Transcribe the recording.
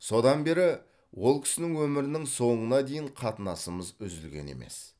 содан бері ол кісінің өмірінің соңына дейін қатынасымыз үзілген емес